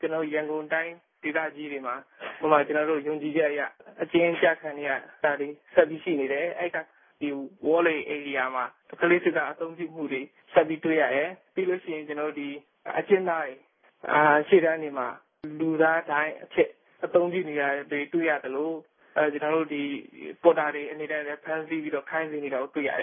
ကျွန်တော်တို့ ရန်ကုန်တိုင်း ဒေသကြီးတွေမှာ ဥပမာ ကျွန်တော်တို့ ယုံကြည်ချက်အရ အကျဉ်းကျခံနေရတာတွေ ဆက်ပြီးရှိနေတယ်။ အဲဒီက ဒီ ဝေါလေ ဧရိယာမှာ ကလေးစစ်သား အသုံးပြုမှုတွေ ဆက်ပြီး တွေ့ရတယ်။ ပြီးလို့ရှိရင် ကျွန်တော်တို့ အကျဉ်းသားတွေ ရှေ့တန်းတွေမှာ လူသားဒိုင်းအဖြစ် အသုံးပြုနေတာတွေ တွေ့ရသလို ကျွန်တော်တို့ ဒီ ပေါ်တာတွေ အနေနဲ့လည်း ဖမ်းဆီးပြီးတော့ ခိုင်းစေနေတာကို တွေ့ရတယ